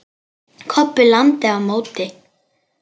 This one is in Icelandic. Kobbi lamdi á móti.